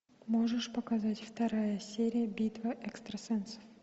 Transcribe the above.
можешь показать вторая серия битва экстрасенсов